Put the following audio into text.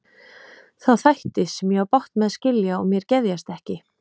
Þá þætti, sem ég á bágt með að skilja og mér geðjast ekki.